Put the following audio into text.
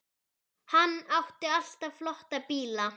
Hann átti alltaf flotta bíla.